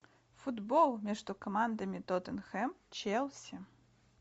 футбол между командами тоттенхэм челси